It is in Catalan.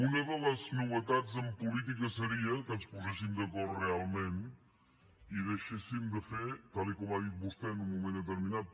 una de les novetats en política seria que ens poséssim d’acord realment i que ens deixéssim de fer tal com ha dit vostè en un moment determinat